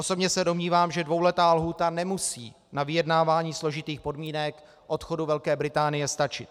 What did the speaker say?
Osobně se domnívám, že dvouletá lhůta nemusí na vyjednávání složitých podmínek odchodu Velké Británie stačit.